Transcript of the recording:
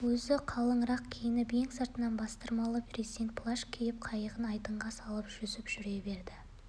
өзі қалыңырақ киініп ең сыртынан бастырмалы брезент плащ киіп қайығын айдынға салып жүзіп жүре берді